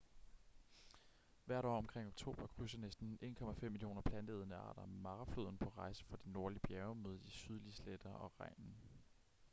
hvert år omkring oktober krydser næsten 1,5 millioner planteædende arter mara floden på rejse fra de nordlige bjerge mod de sydlige sletter og regnen